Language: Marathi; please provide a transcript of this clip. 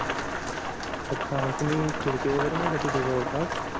अच्छा मग तुम्ही खिडकी वैगेरे नाही का तिथं जवळ पस